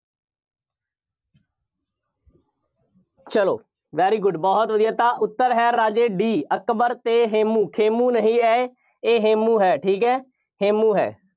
ਚੱਲੋ very good ਬਹੁਤ ਵਧੀਆ, ਤਾਂ ਉੱਤਰ ਹੈ ਰਾਜੇ D ਅਕਬਰ ਅਤੇ ਹੇਮੂੰ। ਖੇਮੂੰ ਨਹੀਂ ਹੈ ਇਹ ਹੇਮੂੰ ਹੈ, ਠੀਕ ਹੈ, ਹੇਮੂੰ ਹੈ।